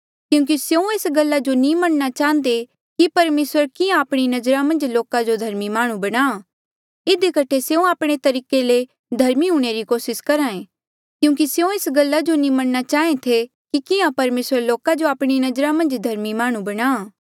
क्यूंकि स्यों एस गल्ला जो नी मनणा चाहंदे कि परमेसरा किहाँ आपणी नजरा मन्झ लोका जो धर्मी माह्णुं बणा इधी कठे स्यों आपणे तरीके ले धर्मी हूंणे री कोसिस करहे क्यूंकि स्यों एस गल्ला जो नी मनणा चाहें थे कि किहाँ परमेसर लोका जो आपणी नजरा मन्झ धर्मी माह्णुं बणा